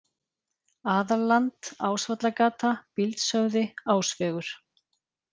Aðalland, Ásvallagata, Bíldshöfði, Ásvegur